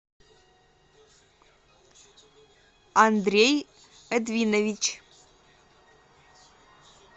андрей эдвинович